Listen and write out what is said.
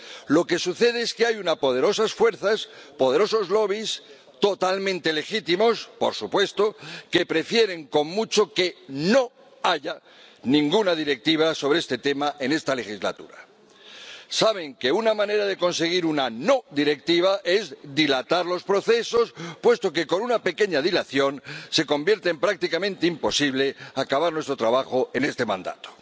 Lo que sucede es que hay unas poderosas fuerzas, poderosos lobbies totalmente legítimos, por supuesto, que prefieren, con mucho, que no haya ninguna directiva sobre este tema en esta legislatura. Saben que una manera de conseguir una no directiva es dilatar los procesos, puesto que, con una pequeña dilación, se convierte en prácticamente imposible acabar nuestro trabajo en este mandato.